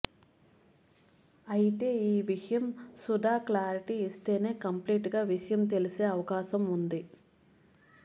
అయితే ఈ విషయం సుధా క్లారిటీ ఇస్తేనే కంప్లీట్ గా విషయం తెలిసే అవకాశం ఉంది